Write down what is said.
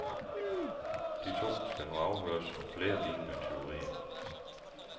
De to skal nu afhøres om flere lignende tyverier.